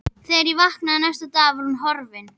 Þegar ég vaknaði næsta dag var hún horfin.